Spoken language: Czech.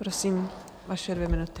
Prosím, vaše dvě minuty.